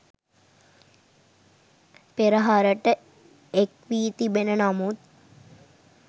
පෙරහරට එක් වී තිබෙන නමුත්